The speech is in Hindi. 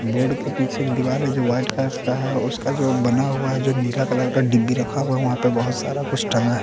बोर्ड के पीछे एक दीवार है जो वाइट का है उसका जो बना हुआ है जो नीला कलर का डिब्बी रखा हुआ है वहाँ पर बहुत सारा कुछ टंगा है।